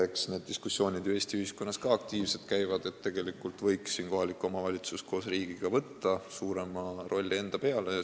Eks need diskussioonid Eesti ühiskonnas ju ka aktiivselt käivad, et tegelikult võiks kohalik omavalitsus koos riigiga võtta suurema rolli enda peale.